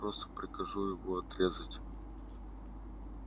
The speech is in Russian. я просто прикажу его отрезать